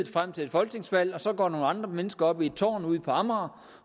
frem til et folketingsvalg og så går nogle andre mennesker op i et tårn ude på amager